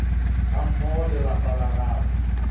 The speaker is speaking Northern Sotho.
gammogo le lapa la gagwe